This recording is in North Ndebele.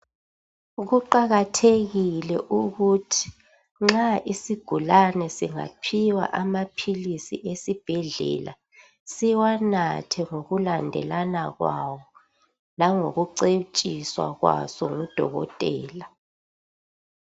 Kuqakathekile ukuthi nxa isigulani singaphiwa amaphilisi esibhedlela siwanathe ngokulandelana kwawo, langokucetshiswa ngudokotela.